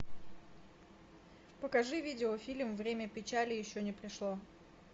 покажи видеофильм время печали еще не пришло